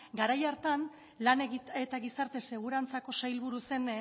garai hartan lan eta gizarte segurantzako sailburu zen